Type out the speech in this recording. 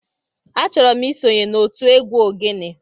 Achoro m isonye n'otu egwu ogene.